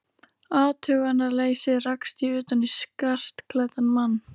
athugunarleysi rakst ég utan í skartklæddan mann.